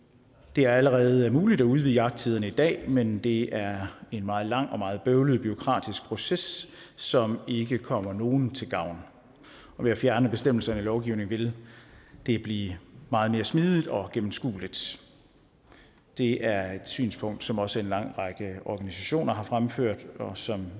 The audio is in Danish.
det er allerede muligt at udvide jagttiderne i dag men det er en meget lang og meget bøvlet bureaukratisk proces som ikke kommer nogen til gavn ved at fjerne bestemmelserne i lovgivningen vil det blive meget mere smidigt og gennemskueligt det er et synspunkt som også en lang række organisationer har fremført og som